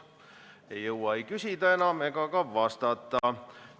Ei jõua enam küsida ega ka vastata.